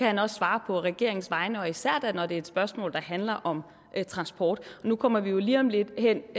han også svare på regeringens vegne og da især når det er et spørgsmål der handler om transport nu kommer vi jo lige om lidt hen